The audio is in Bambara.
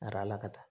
Arala ka taa